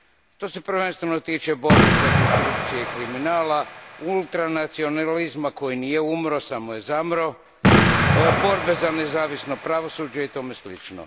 To se prvenstveno tiče borbe protiv korupcije i kriminala, ultranacionalizma koji nije umro, samo je zamro, borbe za nezavisno pravosuđe i tome slično.